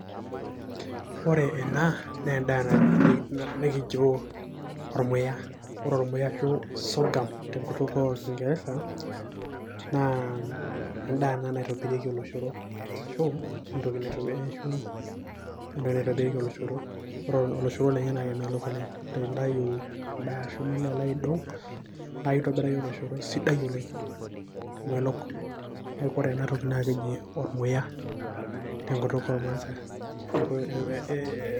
Ore ena naa endaa na nekijo ormuya ore ormuya arashu soghum tenkutuk orkingeresa naa endaa ena naitobirieki oloshoro arashu, entoki naitobirieki oloshoro na ore oloshoro lenye na kemelok oleng peintayi endaa arashu pilo aidong na keitobir oloshoro sidai oleng omelok, neaku ore enatoki nakeji ormuya tenkituk ormaasai ee.